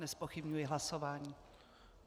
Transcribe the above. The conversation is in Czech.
Nezpochybňuji hlasování.